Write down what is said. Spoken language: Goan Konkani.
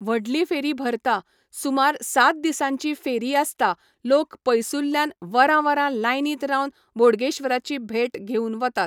व्हडली फेरी भरता, सूमार सात दिसांची फेरी आसता लोक पयसुल्ल्यान वरां वरां लायनींत रावन बोडगेश्वराची भेट घेवन वतात.